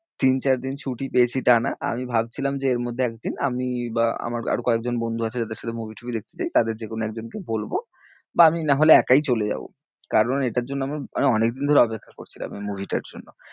তিন-চারদিন ছুটি পেয়েছি তা না, আমি ভাবছিলাম যে এর মধ্যে একদিন আমি বা আমার আরও কয়েকজন বন্ধু আছে যাদের সাথে movie টুভি দেখতে যাই, তাদের যে কোনো একজনকে বলবো বা নাহলে আমি একাই চলে যাবো কারণ এটার জন্যে আমি মানে অনেকদিন ধরে অপেক্ষা করছিলাম movie টার জন্য,